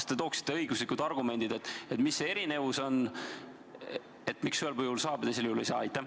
Kas te tooksite õiguslikud argumendid, mis see erinevus on, miks ühel juhul saab ja teisel juhul ei saa?